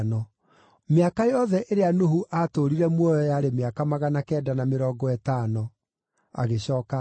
Mĩaka yothe ĩrĩa Nuhu aatũũrire muoyo yarĩ mĩaka magana kenda na mĩrongo ĩtano, agĩcooka agĩkua.